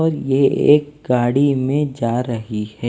और यह एक गाड़ी में जा रही है।